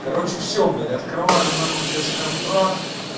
короче все блять открываем нахуй сейчас контракт